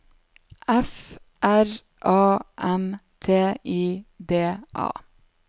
F R A M T I D A